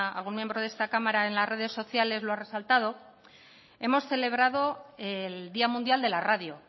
algún miembro de esta cámara en las redes sociales lo ha resaltado el día mundial de la radio